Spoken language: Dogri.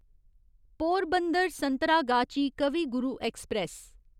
पोरबंदर संतरागाची कवि गुरु ऐक्सप्रैस